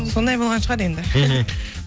сондай болған шығар енді мхм